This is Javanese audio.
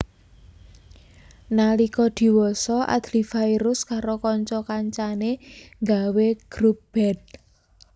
Nalika diwasa Adly Fairuz karo kanca kancané nggawé grup band